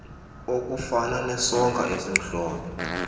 okufana nesonka esimhlophe